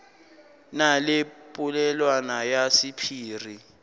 na le polelwana ya sephiri